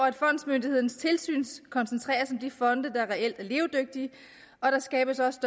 at fondsmyndighedens tilsyn koncentreres om de fonde der reelt er levedygtige og der skabes også